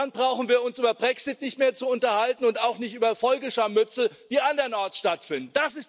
Dann brauchen wir uns über den Brexit nicht mehr zu unterhalten und auch nicht über Folgescharmützel, die andernorts stattfinden.